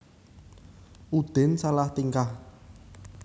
Udin salah tingkah